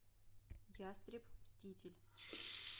ястреб мститель